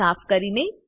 ને સાફ કરીએ